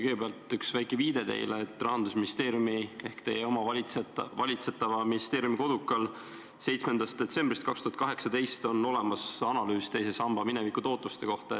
Kõigepealt üks väike viide: Rahandusministeeriumi ehk teie oma valitsetava ministeeriumi kodulehel on 7. detsembrist 2018 olemas analüüs teise samba minevikutootluse kohta.